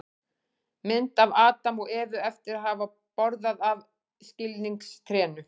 mynd af adam og evu eftir að hafa borðað af skilningstrénu